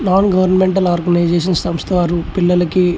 non governmental organization సంవస్ట అరు పిల్లలకి --